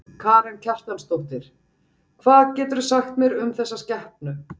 Karen Kjartansdóttir: Hvað geturðu sagt mér um þessa skepnu?